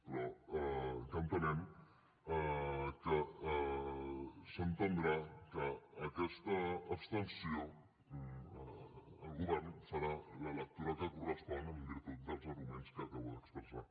però entenem que d’aquesta abstenció el govern en farà la lectura que correspon en virtut dels arguments que acabo d’expressar